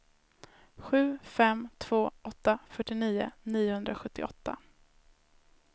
sju fem två åtta fyrtionio niohundrasjuttioåtta